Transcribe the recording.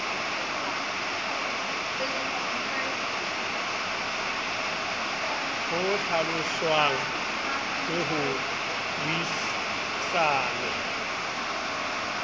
ho hlaloswang le ho buisanwa